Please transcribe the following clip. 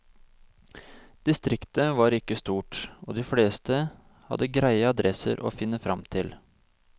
Distriktet var ikke så stort, og de fleste hadde greie adresser å finne fram til.